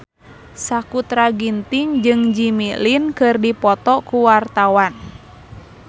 Sakutra Ginting jeung Jimmy Lin keur dipoto ku wartawan